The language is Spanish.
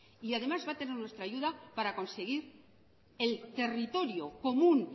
y además va a tener nuestra ayuda para conseguir el territorio común